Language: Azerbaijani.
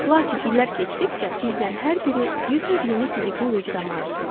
Lakin illər keçdikcə bizdən hər biri bir növ yeni fiziki vücuda malik oluruq.